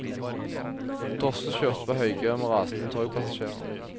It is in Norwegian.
Drosjer kjørte på høygir med rasende togpassasjerer.